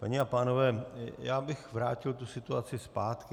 Paní a pánové, já bych vrátil tu situaci zpátky.